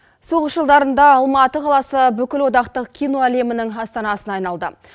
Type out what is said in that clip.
соғыс жылдарында алматы қаласы бүкілодақтық кино әлемінің астанасына айналды